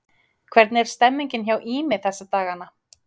Hvernig er stemningin hjá Ými þessa dagana?